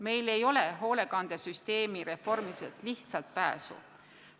Meil ei ole hoolekandesüsteemi reformimisest pääsu.